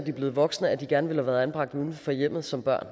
er blevet voksne at de gerne ville have været anbragt uden for hjemmet som barn